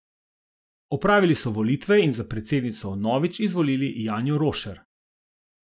Opravili so volitve in za predsednico vnovič izvolili Janjo Rošer.